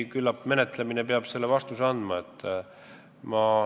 Küllap menetlemine annab kõigele vastuse.